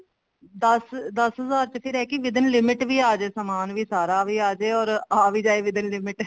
ਦਸ ਦਸ ਹਜ਼ਾਰ ਚ ਰਹਿ ਕੇ with in limit ਵੀ ਆਜੇ ਵੀ ਸਮਾਨ ਵੀ ਸਾਰਾ ਆਜੇ or ਆ ਵੀ ਜਾਏ with in limit